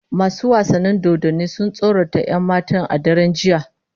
Masu wasan dodanni sun tsorata 'yan matan a daren jiya